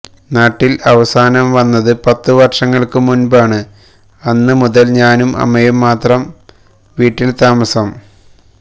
നാട്ടിൽ അവസാനം വന്നത് പത്തു വർഷങ്ങൾക്ക് മുൻപാണ്അന്ന് മുതൽ ഞാനും അമ്മയും മാത്രം വീട്ടിൽ താമസം